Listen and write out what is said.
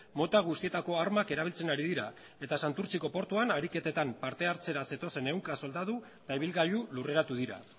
mota guztietako armak erabiltzen ari dira eta santurtziko portuan ariketetan parte hartzera zetozen ehunka soldadu eta ibilgailu lurreratu dira